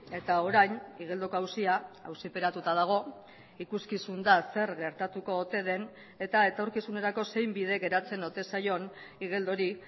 eta orain igeldoko auzia auziperatuta dago ikuskizun da zer gertatuko ote den eta etorkizunerako zein bide geratzen ote zaion igeldori